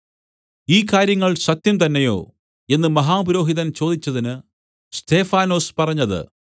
ഈ കാര്യങ്ങൾ സത്യം തന്നെയോ എന്ന് മഹാപുരോഹിതൻ ചോദിച്ചതിന് സ്തെഫാനൊസ് പറഞ്ഞത്